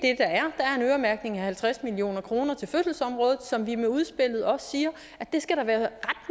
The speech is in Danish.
øremærkning af halvtreds million kroner til fødselsområdet som vi med udspillet også siger der skal være